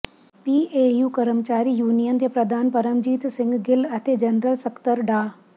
P A U ਕਰਮਚਾਰੀ union ਦੇ ਪ੍ਰਧਾਨ ਪਰਮਜੀਤ ਸਿੰਘ ਗਿੱਲ ਅਤੇ ਜਨਰਲ ਸਕੱਤਰ ਡਾ